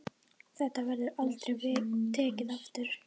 Þetta verður aldrei tekið aftur.